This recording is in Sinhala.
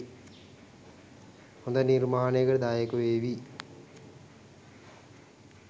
හොඳ නිර්මාණයකට දායක වේවි.